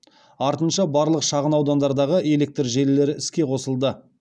артынша барлық шағынаудандардағы электр желілері іске қосылды